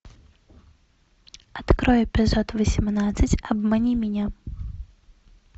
открой эпизод восемнадцать обмани меня